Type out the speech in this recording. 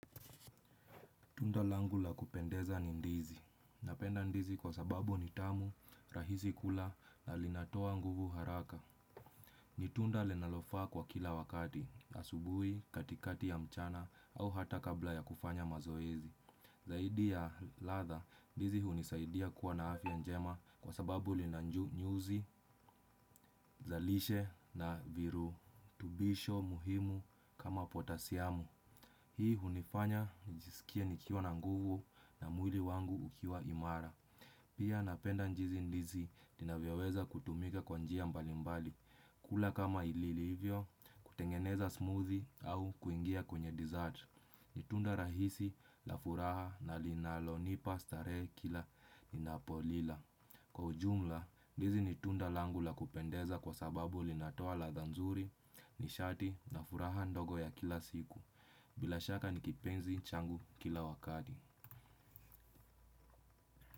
Tunda langu la kupendeza ni ndizi. Napenda ndizi kwa sababu ni tamu, rahisi kula na linatoa nguvu haraka. Ni tunda linalofaa kwa kila wakati, asubuhi, katikati ya mchana au hata kabla ya kufanya mazoezi. Zaidi ya ladha, ndizi hunisaidia kuwa na afya njema kwa sababu lina nyuzi, za lishe na viru. Tubisho muhimu kama potasiamu. Hii hunifanya nijisikie nikiwa na nguvu na mwili wangu ukiwa imara. Pia napenda jinsi ndizi inavyoweza kutumika kwa njia mbali mbali. Kula kama ilivyo, kutengeneza smoothie au kuingia kwenye dessert. Ni tunda rahisi la furaha na linalonipa starehe kila ninapolila. Kwa ujumla, ndizi ni tunda langu la kupendeza kwa sababu linatoa ladha nzuri, nishati na furaha ndogo ya kila siku, bila shaka ni kipenzi changu kila wakati.